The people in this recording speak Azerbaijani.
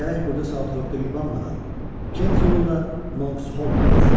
Gərək burada Saatvorkda yubanmadan Kent yolu ilə Monksholma getsin.